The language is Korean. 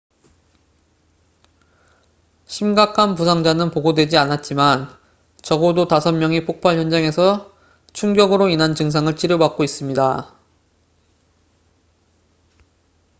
심각한 부상자는 보고되지 않았지만 적어도 5명이 폭발 현장에서 충격으로 인한 증상을 치료받고 있습니다